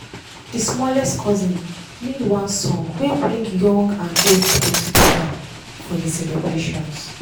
dey smallest cousin lead one song wey bring young and old people together for for dey celebrations.